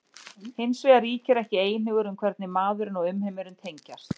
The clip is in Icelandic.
Hins vegar ríkir ekki einhugur um hvernig maðurinn og umheimurinn tengjast.